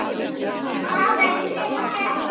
Hvaðan kemur þetta?